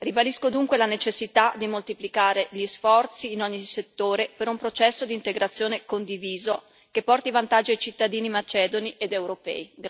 Ribadisco dunque la necessità di moltiplicare gli sforzi in ogni settore per un processo di integrazione condiviso che porti vantaggi ai cittadini macedoni ed europei.